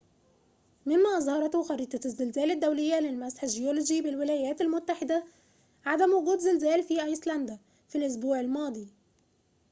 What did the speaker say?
مما أظهرته خريطة الزلازل الدولية للمسح الجيولوجي بالولايات المتحدة عدم وجود زلازل في أيسلندا في الأسبوع الماضي